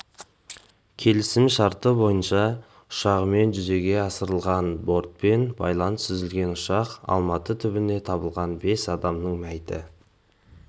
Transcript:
келісімшарты бойынша ұшағымен жүзеге асырылған бортпен байланыс үзілген ұшақ алматы түбінде табылған бес адамның мәйіті